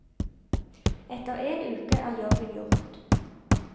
Etter en uke er jobben gjort.